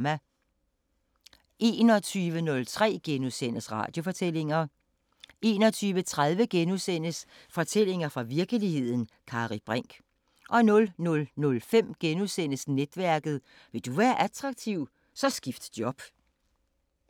21:03: Radiofortællinger 21:30: Fortællinger fra virkeligheden – Kari Brinch * 00:05: Netværket: Vil du være attraktiv, så skift job *